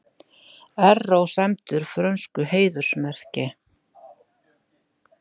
Erró sæmdur frönsku heiðursmerki